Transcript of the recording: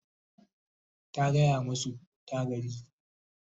ta gaya masu ta gaji